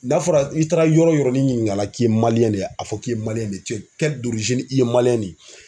N'a fɔra i taara yɔrɔ o yɔrɔ ni ɲininkala k'i ye de ye a fɔ k'i ye a fɔ k'i ye i ye de ye